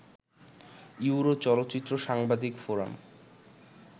euro চলচ্চিত্র সাংবাদিক forum